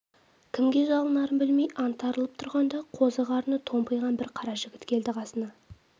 кімге жалынарын білмей аңтарылып тұрғанда қозы қарыны томпиған бір қара жігіт келді қасына